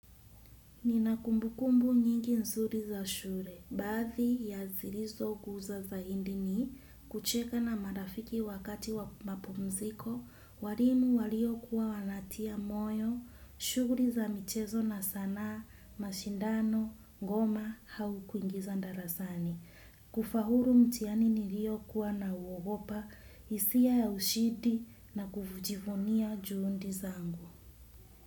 Nina kumbukumbu nyingi nzuri za shure, baadhi ya zirizo guza zaindi ni, kucheka na marafiki wakati wa mapumziko, warimu walio kuwa wanatia moyo, shuguli za michezo na sanaa, mashindano, ngoma, hau kuingiza ndarasani. Kufahuru mtihani ni rio kuwa na uogopa, hisia ya ushidi na kujivunia juundi zangu.